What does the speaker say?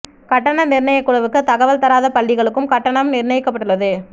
கட்டண நிர்ணய குழுவுக்கு தகவல் தராத பள்ளிகளுக்கும் கட்டணம் நிர்ணயிக்கப்பட்டுள்ளது